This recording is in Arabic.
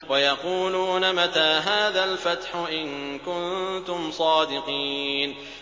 وَيَقُولُونَ مَتَىٰ هَٰذَا الْفَتْحُ إِن كُنتُمْ صَادِقِينَ